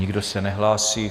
Nikdo se nehlásí.